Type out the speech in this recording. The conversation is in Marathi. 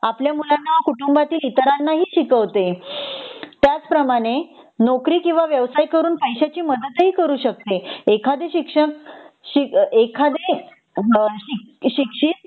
आपल्या मुलांना कुटुंबातील इतरांना ही शिकवते त्याचप्रमाणे नोकरी किंवा व्यवसाय करून पैशाची मदत ही करू शकते एखादे शिक्षक एखादे म शिक्षित